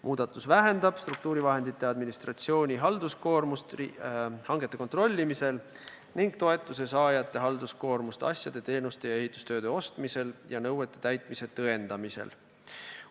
Muudatus vähendab struktuurivahendite administratsiooni halduskoormust hangete kontrollimisel ning toetuse saajate halduskoormust asjade, teenuste ja ehitustööde ostmisel ning nõuete täitmise tõendamisel.